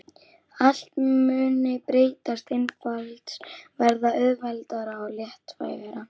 Allt muni breytast, einfaldast, verða auðveldara og léttvægara.